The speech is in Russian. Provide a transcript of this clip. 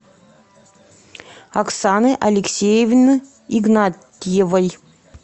оксаны алексеевны игнатьевой